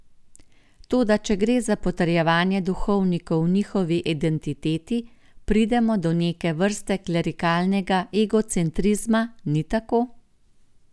Toda če gre za potrjevanje duhovnikov v njihovi identiteti, pridemo do neke vrste klerikalnega egocentrizma, ni tako?